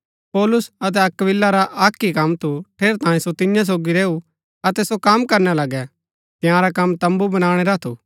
पौलुस अतै अक्‍विला रा अक्क ही कम थु ठेरैतांये सो तियां सोगी रैऊ अतै सो कम करणा लगै तंयारा कम तम्बू बनाणै रा थु